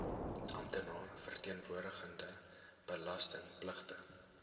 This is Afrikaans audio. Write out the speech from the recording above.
amptenaar verteenwoordigende belastingpligtige